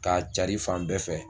K'a cari fan bɛɛ fɛ.